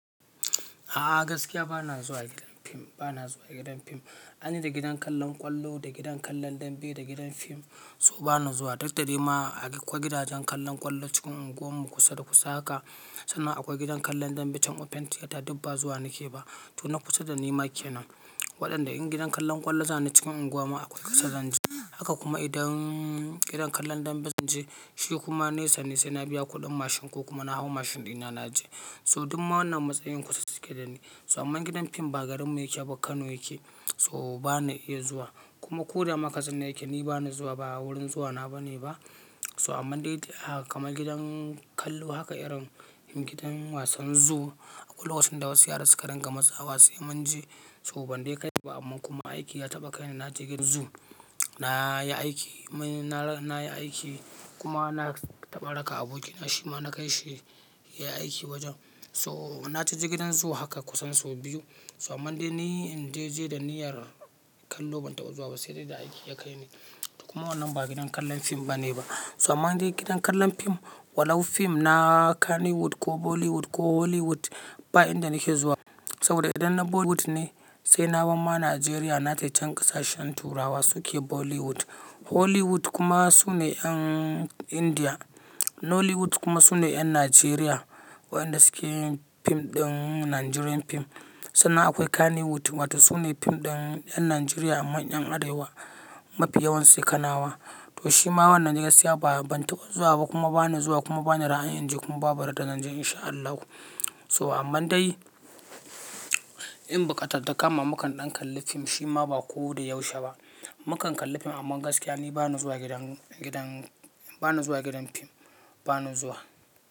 A'a gaskiya ba na zuwa gidan fim, ba na zuwa gidan fim. Ai ni da gidan kallon ƙwallo, da gidan kallon dambe, da gidan fim so ba na zuwa. Duk da dai ma akwai gidajen kallon ƙwallo cikin unguwar mu kusa da kusa haka. Sannan akwai gidan kallon dambe can Open Theater duk ba zuwa nake ba. To na kusa da ni ma kenan. Waɗanda in gidan kallon ƙwallo za ni cikin unguwa ma akwai ƙasa zan je. Haka kuma idan gidan kallon dambe zan je shi kuma nesa ne sai na biya kuɗin mashin ko kuma na hau mashin ɗina na je. So duk ma wannan matsayin kusa suke da ni. So amman gidan fim ba garin mu yake ba Kano yake, so ba ni iya zuwa. Kuma ko da ma a ƙasan nan yake ni ba na zuwa, ba wurin zuwa na ba ne ba. So amman dai kamar gidan kallo haka irin gidan wasan zoo akwai lokacin da wasu yara suka ringa matsawa sai mun je. So ban dai kai ba, amma kuma aiki ya taɓa kai ni na je gidan zoo. Na yi aiki, na yi aiki kuma na taɓa raka aboki na shi ma na kai shi ya yi aiki wajen. To na tafi gidan zoo haka kusan sau biyu. So amman dai ni in dai je da niyyar kallo ban taɓa zuwa ba sai dai da aiki ya kai ni. Kuma wannan ba gidan kallon fim ba ne ba. So amman dai gidan kallon fim, walau fim na Kannywood ko Bollywood ko Hollywood ba inda nake zuwa. Saboda idan na Bollywood ne sai na bar ma Najeriya na tai can ƙasashen turawa suke Bollywood. Hollywood kuma su ne ƴan Indiya. Nollywood kuma su ne 'yan Najeriya waɗanda suke yin fim ɗin Nigerian fim. Sannan akwai Kannywood wato su ne fim ɗin ƴan Najeriya manyan Arewa, mafi yawan su kanawa. To shi ma wannan gaskiya ba, ban taɓa zuwa ba kuma ba na zuwa kuma ba na ra'ayin in je kuma babu randa zan je in sha Allahu. To amman dai in buƙata ta kama makan ɗan kalli fim shi ma ba ko da yaushe ba. Makan kalli fim amman gaskiya ni ba ni zuwa gidan, gidan ba na zuwa gidan fim, ba na zuwa.